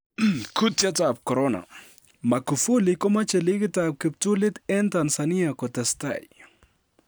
Kutietab Korona: Magufuli komoche ligit ab kiptulit en Tanzania kotestai